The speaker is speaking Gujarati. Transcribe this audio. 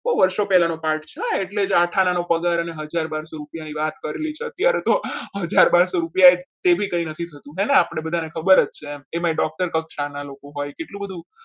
બહુ વર્ષો પહેલા નો પાઠ છે હા એટલે આઠ આના નો પગાર અને હજાર બારસો રૂપિયાની વાત કરેલી છે અત્યારે તો હજાર બારસો રૂપિયા એ બી કઈ નથી થતું હે ને આપણે બધાને ખબર જ છે એમાં doctor કક્ષાના લોકો હોય કેટલું બધું